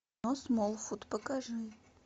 смолфут покажи